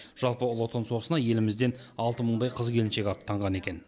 жалпы ұлы отан соғысына елімізден алты мыңдай қыз келіншек аттанған екен